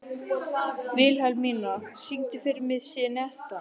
Vilhelmína, syngdu fyrir mig „Syneta“.